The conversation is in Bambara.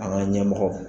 An ka ɲɛmɔgɔw